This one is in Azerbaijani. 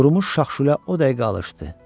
Qurumuş şax-şülə o dəqiqə alışdı.